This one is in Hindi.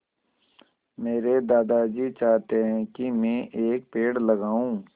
मेरे दादाजी चाहते हैँ की मै एक पेड़ लगाऊ